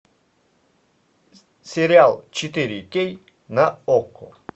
сериал четыре кей на окко